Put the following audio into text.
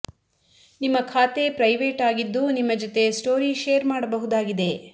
ನಿಮ್ಮ ಖಾತೆ ಪ್ರೈವೇಟ್ ಆಗಿದ್ದೂ ನಿಮ್ಮ ಜತೆ ಸ್ಟೋರಿ ಶೇರ್ ಮಾಡಬಹುದಾಗಿದೆ